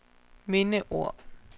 mindeord